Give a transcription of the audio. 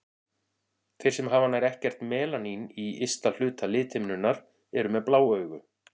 Þeir sem hafa nær ekkert melanín í ysta hluta lithimnunnar eru með blá augu.